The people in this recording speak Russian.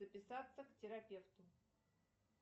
записаться к терапевту